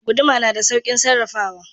Guduma na da saukin sarrafawa.